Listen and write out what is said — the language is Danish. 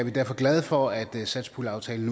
er derfor glade for at satspuljeaftalen